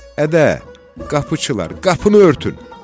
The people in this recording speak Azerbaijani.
Ədə, qapıçılar, qapını örtün!